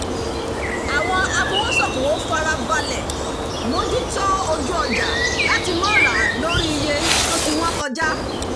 àwọn afowósókowò farabalẹ̀ mójútó ojú ọjà láti má rà á lórí iye tó ti wọ́n kọjá